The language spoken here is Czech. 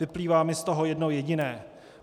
Vyplývá mi z toho jedno jediné.